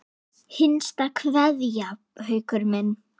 HINSTA KVEÐJA Haukur minn.